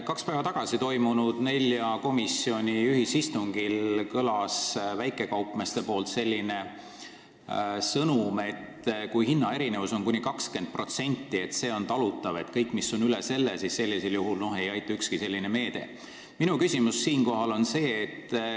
Kaks päeva tagasi toimunud nelja komisjoni ühisistungil andsid väikekaupmehed edasi sõnumi, et kui hinnaerinevus on kuni 20%, on see talutav, aga kõik, mis on üle selle – noh, siis ei aita ükski leevendusmeede.